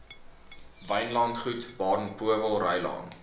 wynlandgoed baden powellrylaan